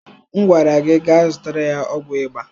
Mgwara gi gaa zụtara ya ọgwụ ịba!